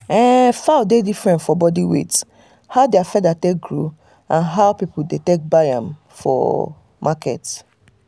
fowl dey different for body weight um how their feather take grow and how people dey buy um dem for um market